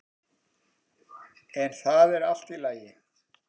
En það er allt í lagi.